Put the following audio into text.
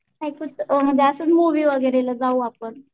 काय कुठं असंच मूवी वगैरेला जाऊ आपण.